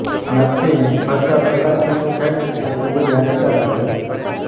નક્કી નિષ્ફળતા પ્રકારની શું થાય તે ખૂબ જ હાનિકારક હોય છે